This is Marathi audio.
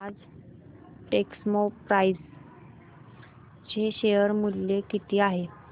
आज टेक्स्मोपाइप्स चे शेअर मूल्य किती आहे